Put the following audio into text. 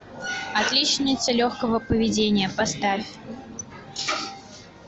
отличница легкого поведения поставь